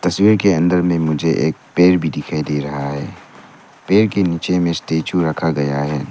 तस्वीर के अंदर में मुझे एक पेर भी दिखाई दे रहा है पेर के नीचे में स्टैचू रखा गया है।